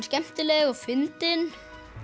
skemmtileg og fyndin